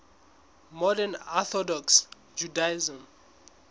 modern orthodox judaism